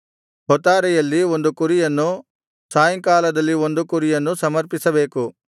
ಹೊತ್ತಾರೆಯಲ್ಲಿ ಒಂದು ಕುರಿಯನ್ನು ಸಾಯಂಕಾಲದಲ್ಲಿ ಒಂದು ಕುರಿಯನ್ನೂ ಸಮರ್ಪಿಸಬೇಕು